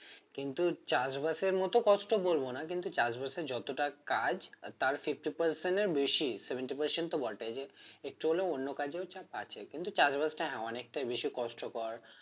কিন্তু চাষবাসের মতো কষ্ট বলব না কিন্তু চাষবাসে যতটা কাজ আর তার fifty percent এর বেশি seventy percent তো বটেই একটু হলেও যে অন্য কাজেও চাপ আছে কিন্তু চাষবাস টা অনেকটাই বেশি কষ্টকর